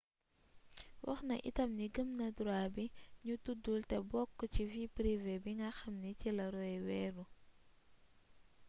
waxna itam ni gëm na droit bi ñu tuddul te bokk ci vie privé bi nga xamni ci la roe wéeru